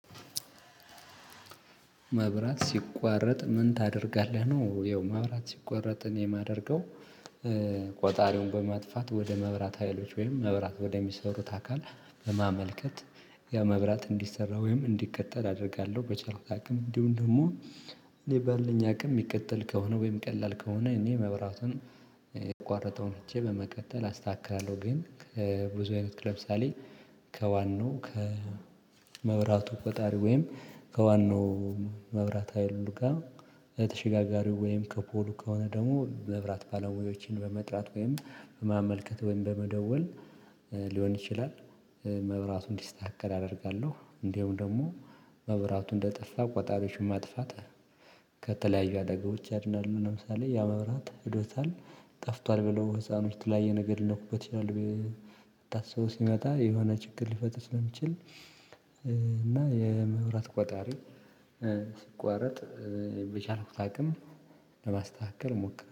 መብራት ሲቋረጥ ምን ታደርጋለህ ነው። ያው ማብራት ሲቋረጥ የማደርገው ቆጣሪውን በማጥፋት ወደ መብራት ሀይሎች ወይም መብራት ወደ ሚሰሩት አካል በማመልከት ያ መብራት እንድሰራ ወይም እንዲቀጠል አደርጋለሁ በቻልኩ አቅም። እንዲሁም ደግሞ እኔ ባለኝ አቅም የሚቀጠል ከሆነ ወይም ቀላል ከሆነ እኔ መብራቱን የተቋረጠውን ፍቼ በመቀጠል አስተካክላለሁ ግን ከብዙ አይነት ክለብ ለምሳሌ ከዋናው ከመብራቱ ቆጣሪ ወይም ከዋናው መብራት ሀይሉ ጋር የተሸጋጋሪው ወይም ከፖሉ ከሆነ ደግሞ መብራት ባለሙዮችን በመጥራት ወይም በማመልከት ወይም በመደወል ሊሆን ይችላል። መብራቱ እንዲስተካከል አደርጋለሁ። እንዲሁም ደግሞ መብራት እንደጠፋ ቆጣሪዎች ማጥፋት ከተለያዩ አደጋዎች ያድናሉ። ለምሳሌ ያ መብራት ሄዶታል ጠፍቷል ብለው ህፃኖች የተለያዩ የነገር ነኩት ታስበው ሲመጣ የሆነ ችግር ሊፈጥር ስለሚችል እና የመብራት ቆጣሪ ሲቋረጥ በቻልኩት አቅም ለማስተካከል